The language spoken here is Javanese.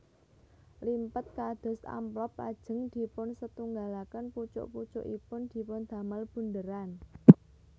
Limpet kados amplop lajeng dipunsetunggalaken pucuk pucukipun dipundamel bundheran